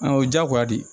o diyagoya de ye